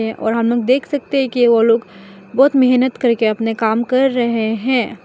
और हम लोग देख सकते है की वो लोग बहोत मेहनत करके अपने काम कर रहे हैं।